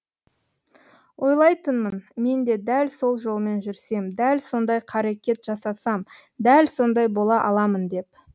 ойлайтынмын мен де дәл сол жолмен жүрсем дәл сондай қарекет жасасам дәл сондай бола аламын деп